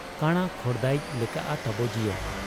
ᱠᱟᱬᱟ ᱠᱷᱚᱲᱫᱟᱭᱤᱡ ᱞᱮᱠᱟᱜ ᱟ ᱛᱟᱵᱚ ᱡᱤᱭᱚᱱ ᱾